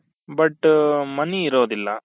but money ಇರೋದಿಲ್ಲ